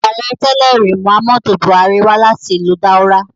Aarẹ tẹlẹri, Muhammadu Buhari wa lati ilu Daura